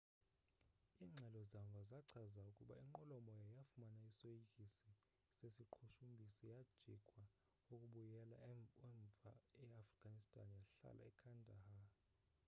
ingxelo zamva zachaza ukuba inqwelomoya yafumana isoyikiso sesiqhushumbisi yajikwa ukubuyela umva e afghanistan yahlala ekandahar